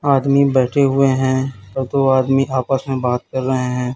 आदमी बैठे हुए हैं तो दो आदमी आपस में बात कर रहे हैं।